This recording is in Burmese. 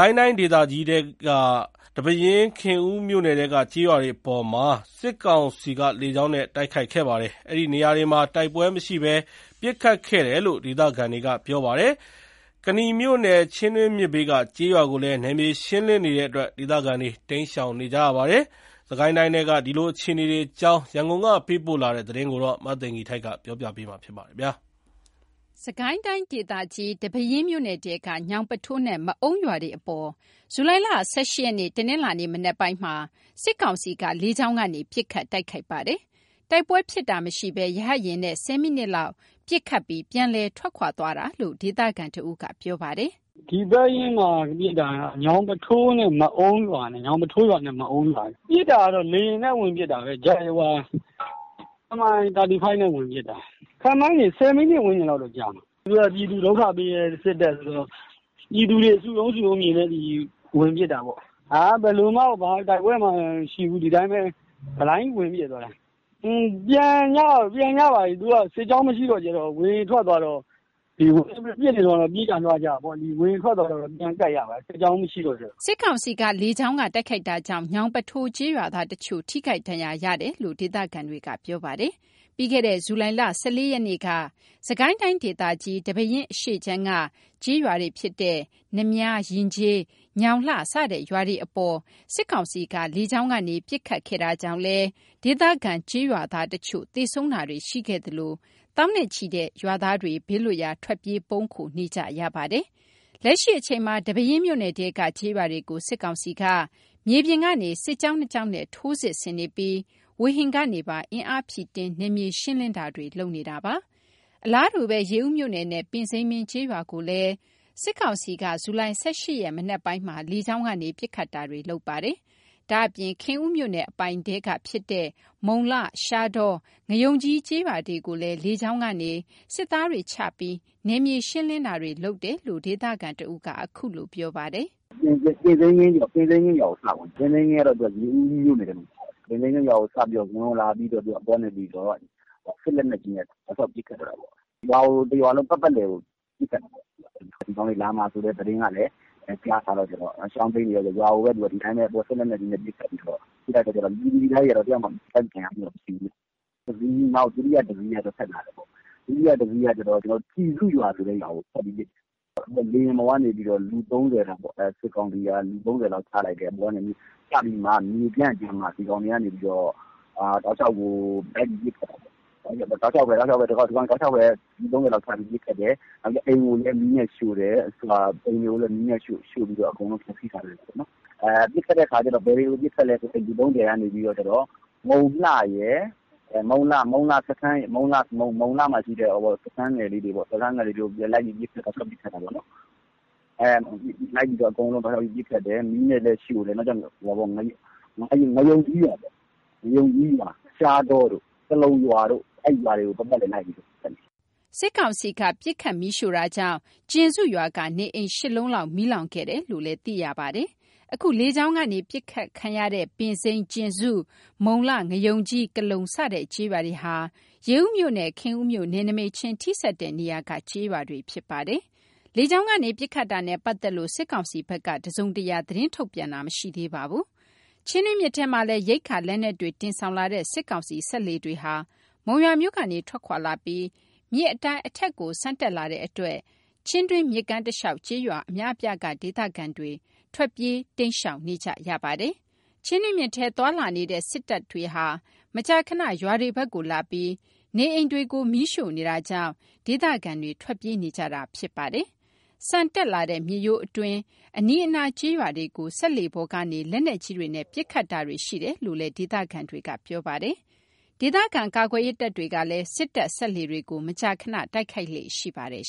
ိုင်းတိုင်းဒေသကြီးထဲက ဒီပဲယင်း၊ ခင်ဦးမြို့နယ်ထဲက ကျေးရွာတွေအပေါ် စစ်ကောင်စီက လေကြောင်းနဲ့ တိုက်ခိုက်ခဲ့ပါတယ်။ အဲဒီနေရာတွေမှာ တိုက်ပွဲမရှိဘဲ ပစ်ခတ်ခဲ့တယ်လို့ ဒေသခံတွေက ပြောပါတယ်။ ကနီမြို့နယ် ချင်းတွင်း မြစ်ဘေးက ကျေးရွာကိုလည်း နယ်မြေရှင်းလင်းနေတဲ့အတွက် ဒေသခံတွေ တိမ်းရှောင်နေကြရပါတယ်။ စစ်ကိုင်းတိုင်းထဲက ဒီလိုအခြေအနေတွေအကြောင်း ရန်ကုန်ကပေးပို့တဲ့သတင်းကို မသိဂီထိုက် ကတင်ပြပါမယ်။ စစ်ကိုင်းတိုင်းဒေသကြီး၊ ဒီပဲယင်းမြို့နယ်ထဲက ညောင်ပုထိုးနဲ့ မအုံးရွာတွေအပေါ် ဇူလိုင် ၁၈ ရက် တနင်္လာနေ့ မနက်ပိုင်း စစ်ကောင်စီက လေကြောင်းကနေ ပစ်ခတ်တိုက်ခိုက်ခဲ့ပါတယ်။ တိုက်ပွဲဖြစ်ပွားတာ မရှိဘဲ ရဟတ်ယာဉ်နဲ့ ၁၀ မိနစ်ခန့် ပစ်ခတ်ပြီး ပြန်လည်ထွက်ခါွသွားတယ်လို့ ဒေသခံတဦးက ပြောပြပါတယ်။ “ဒီပဲယင်းမှာပစ်တာက ညောင်ပုထိုးနဲ့ မအုံးရွာနဲ့ကိုပစ်တာ။ ပစ်တာက လေယာဉ်နဲ့ ဝင်ပစ်တာ MI35 နဲ့ ဝင်ပစ်တာ။ ခန့်မှန်းခြေ ၁၀ မိနစ် ဝန်းကျင်လောက်တော့ ကြာမယ်။ ပြည်သူကို ဒုက္ခပေးတဲ့ စစ်တပ်ဆိုတော့ ပြည်သူတွေ စုရုံးစုရုံးမြင်တော့ ဝင်ပစ်တာပေါ့။ ဘာတိုက်ပွဲမှကို မရှိဘူး ဘလိုင်းကြီးဝင်ပစ်သွားတာ။ ပြန်ကြပါပြီ။ စစ်ကြောင်းမရှိတဲ့အခါကျတော့ ဝေဟင်ကပြန်ထွက်သွားတော့ ပြန်ကြပြီ ပစ်နေတုန်းကတော့ ပြေးကြလွှားကြပေါ့။ ဝေဟင်ထွက်သွားတော့ ပြန်ကပ်ကြပါပြီ စစ်ကြောင်းလည်းမရှိတော့။” စစ်ကောင်စီက လေကြောင်းကတိုက်ခိုက်တာကြောင့် ညောင်ပုထိုးကျေးရွာသားအချို့ ထိခိုက်ဒဏ်ရာရရှိခဲ့တယ်လို့ ဒေသခံတွေကပြောပါတယ်။ ပြီးခဲ့တဲ့ ဇူလိုင် ၁၄ ရက်က စစ်ကိုင်းတိုင်းဒေသကြီး ဒီပဲယင်းအရှေ့ခြမ်းက ကျေးရွာတွေဖြစ်တဲ့ နများ ၊ ယဉ်ကျေး၊ ညောင်လှ စတဲ့ ကျေးရွာတွေအပေါ် စစ်ကောင်စီက လေကြောင်းကနေ ပစ်ခတ်ခဲ့တာကြောင့်လည်း ဒေသခံကျေးရွာသားအချို့သေဆုံးတာတွေရှိခဲ့သလို သောင်းနဲ့ချီတဲ့ ကျေးရွာသားတွေ ဘေးလွတ်ရာ ထွက်ပြေး ပုန်းခိုနေကြရပါတယ်။ လက်ရှိအချိန်မှာ ဒီပဲယင်းမြို့နယ်ထဲက ကျေးရွာတွေကို စစ်ကောင်စီက မြေပြင်ကနေ စစ်ကြောင်း ၂ ကြောင်းနဲ့ ထိုးစစ်ဆင်နေပြီး ဝေဟင်ကနေပါ အင်အားဖြည့်တင်းပြီး နယ်မြေရှင်းလင်းတာတွေလုပ်နေတာပါ။ အလားတူပဲ ရေဦးမြို့နယ်နဲ့ ပင်စိမ်းမင်း ကျေးရွာကိုလည်း စစ်ကောင်စီက ဇူလိုင် ၁၈ ရက် မနက်ပိုင်းမှာ လေကြောင်းကနေ ပစ်ခတ်တာတွေ လုပ်ခဲ့ပါတယ်။ ဒါ့အပြင် ခင်ဦးမြို့နယ်အပိုင်ထဲကဖြစ်တဲ့ မုံလှ ရှားတော ငါးရုံကြီး ကျေးရွာတွေကိုလည်း လေကြောင်းကနေ စစ်သားတွေချပြီး နယ်မြေရှင်းလင်းတာတွေလုပ်တယ်လို့ ဒေသခံတဦးက အခုလိုပြောပါတယ်။ “ပင်စိမ်းမင်းရွာကိုစဝင်တယ်။ ပင်စိမ်းမင်းရွာက ရေဦးမြို့နယ်ထဲမှာပါတယ်။ ပင်စိမ်းမင်းရွာကိုစဝင်လာပြီးတော့ အပေါ်ကနေ စက်လက်နက်တွေနဲ့ တောက်လျှောက်ပစ်ခတ်တော့တာပေါ့။ ရွာကို တရွာလုံး ပတ်ပတ်လည်ကို ပစ်ခတ်တာပေါ့။ ဒီကောင်တွေလာမှာဆိုတဲ့ သတင်းကလည်း ကြားထားတဲ့အခါကျတော့ ရွာကိုဒီအတိုင်းပဲ စက်လက်တွေနဲ့ အပေါ်ကနေ ပစ်ခတ်တဲ့အခါကျတော့ ပြည်သူပြည်သူပြည်သားတွေကတော့ တယောက်မှ ထိခိုက်ဒဏ်ရာရတာတော့မရှိဘူးဗျ။ နောက် တိယတစီးက ဆက်လာတယ်ပေါ့။ ဒုတိယတစီးက ကျဉ်စုဆိုတဲ့ရွာကိုဆက်ပြီးပစ်တယ်။ လေယာဉ်ပေါ်ကနေ လူ ၃၀ လောက် စစ်ကောင်စီက ချလိုက်တယ်။ ချပြီးမှ မြေပြန့်ကြတော့မှ ဒီကောင်တွေက လိုက်ပြီး ပစ်ခတ်တာပေါ့။ အိမ်ကိုလည်း မီးနဲ့ရှို့တယ်။ အကုန်လုံးကိုလည်း ဖျက်စီးထားခဲ့တယ်။ အဲ့လူ ၃၀ က ဘယ်တွေကို ပစ်ခတ်လည်းဆိုရင် မုံလှစခန်းရယ် မုံလှမှာရှိတဲ့ စခန်းငယ်လေးတွေပေါ့။ တောက်လျှောက်အကုန်လိုက်ပစ်ခတ်တယ်။ မီးနဲ့လည်းရှို့တယ်။ ငါးရုံကြီးရွာ ရှားတောတို့ ကလုံရွာတို့ အဲ့ရွာတွေကို ပတ်ပတ်လည် လိုက်ပစ်ခတ်တယ်။” စစ်ကောင်စီက ပစ်ခတ်မီးရှို့တာကြောင့် ကျဉ်စုရွာက နေအိမ် ၈ လုံးခန့် မီးလောင်ကျွမ်းခဲ့တယ်လို့ သိရပါတယ်။ အခု လေကြောင်းကနေ ပစ်ခတ်ခံရတဲ့ ပင်စိမ်း ၊ ကျဉ်စု မုံလှ ငါးရုံကြီး ကလုံစတဲ့ကျေးရွာတွေဟာ ရေဦးမြို့နဲ့ ခင်ဦးမြို့ နယ်နိမိတ်ချင်း ထိစပ်နေတဲ့ နေရာက ကျေးရွာတွေလည်းဖြစ်ပါတယ်။ လေကြောင်းကနေ ပစ်ခတ်တာနဲ့ ပတ်သက်လို့ စစ်ကောင်စီက တစုံတရာ သတင်းထုတ်ပြန်တာ မရှိသေးပါဘူး။ ချင်းတွင်းမြစ်ထဲမှာလည်း ရိက္ခာ လက်နက်တွေ တင်ဆောင်လာတဲ့ စစ်ကောင်စီစက်လှေတွေဟာ မုံရွာမြို့ကနေ ထွက်ခွါလာပြီး မြစ်အတိုင်း အထက်ကို ဆန်တက်လာတဲ့အတွက် ချင်းတွင်းမြစ်ကမ်းတလျှောက် ကျေးရွာအများအပြားက ဒေသခံတွေဟာ တိမ်းရှောင်ထွက်ပြေးကြရပါတယ်။ ချင်းတွင်းမြစ်ထဲ သွားလာနေတဲ့ စစ်တပ်တွေဟာ မကြခဏ ရွာတွေဘက်ကို လာပြီး နေအိမ်တွေကို မီးရှို့နေတာကြောင့် ဒေသခံတွေ ထွက်ပြေးနေကြတာပါ။ ဆန်တက်လာတဲ့ မြစ်ရိုးအတွင်း အနီးအနားကျေးရွာတွေကို စက်လှေပေါ်ကနေ လက်နက်ကြီးတွေနဲ့ ပစ်ခတ်တာတွေရှိတယ်လို့လည်း ဒေသခံတွေကပြောပါတယ်။ ဒေသခံကာကွယ်ရေးတပ်တွေကလည်း စစ်တပ် စက်လှေတွေကို မကြာခဏ တိုက်ခိုက်လေ့ရှိပါတယ်